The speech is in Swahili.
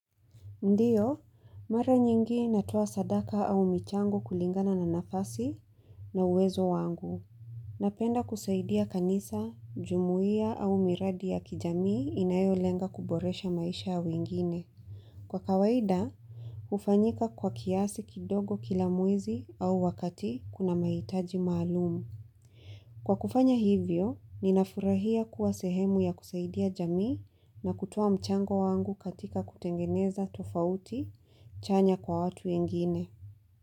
Ndiyo, mara nyingi natuwa sadaka au michango kulingana na nafasi na uwezo wangu. Napenda kusaidia kanisa, jumuia au miradi ya kijamii inayo lenga kuboresha maisha awingine. Kwa kawaida, ufanyika kwa kiasi kidogo kila mwezi au wakati kuna maitaji maalumu. Kwa kufanya hivyo, ninafurahia kuwa sehemu ya kusaidia jamii na kutoa mchango wangu katika kutengeneza tofauti chanya kwa watu ingine.